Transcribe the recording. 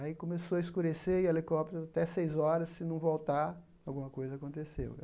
Aí começou a escurecer e o helicóptero, até seis horas, se não voltar, alguma coisa aconteceu.